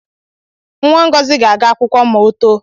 Nwa Ngozi ga-aga akwụkwọ ma too